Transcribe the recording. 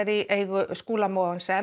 í eigu Skúla Mogensen